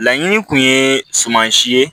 Laɲini kun ye sumansi ye